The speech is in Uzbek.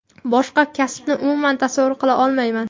Boshqa kasbni umuman tasavvur qila olmayman.